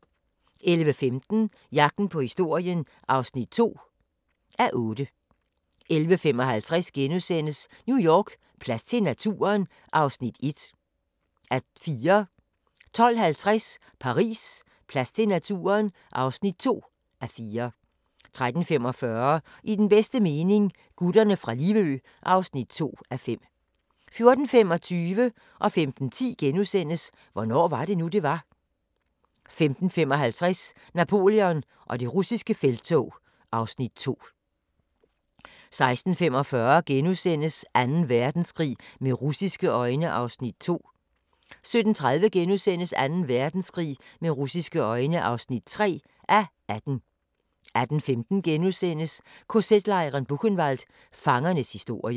11:15: Jagten på historien (2:8) 11:55: New York: Plads til naturen? (1:4)* 12:50: Paris: Plads til naturen? (2:4) 13:45: I den bedste mening – Gutterne fra Livø (2:5) 14:25: Hvornår var det nu, det var? * 15:10: Hvornår var det nu, det var? * 15:55: Napoleon og det russiske felttog (Afs. 2) 16:45: Anden Verdenskrig med russiske øjne (2:18)* 17:30: Anden Verdenskrig med russiske øjne (3:18)* 18:15: KZ-lejren Buchenwald – Fangernes historie *